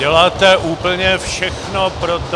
Děláte úplně všechno pro to...